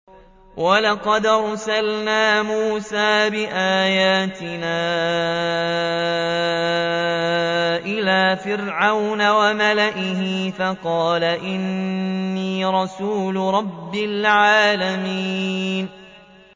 وَلَقَدْ أَرْسَلْنَا مُوسَىٰ بِآيَاتِنَا إِلَىٰ فِرْعَوْنَ وَمَلَئِهِ فَقَالَ إِنِّي رَسُولُ رَبِّ الْعَالَمِينَ